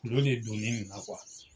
de donnen nin na